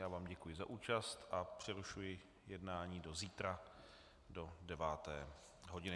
Já vám děkuji za účast a přerušuji jednání do zítra do deváté hodiny.